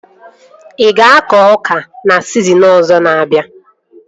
Ị ga-akọ ọka na sizinin ọzọ na-abịa?